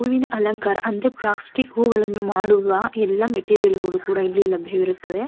ಹೂವಿನ ಅಲಂಕಾರ ಅಂದ್ರೆ ಪ್ಲಾಸ್ಟಿಕ್ ಹೂವುಗಳನ್ನು ಮಾಡುವ ಎಲ್ಲ ಮೆಟೀರಿಯಲ್ ಗಳು ಕೂಡ ಇಲ್ಲಿ ಲಭ್ಯವಿರುತ್ತವೆ.